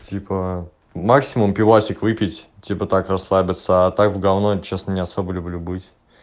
типа максимум пивасик выпить типа так расслабиться а так в говно честно не особо люблю быть